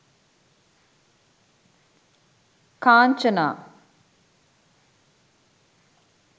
kanchana